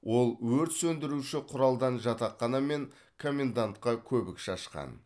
ол өрт сөндіруші құралдан жатақхана мен коммендантқа көбік шашқан